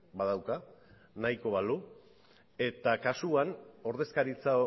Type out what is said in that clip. badauka nahiko balu eta kasuan ordezkaritza